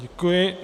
Děkuji.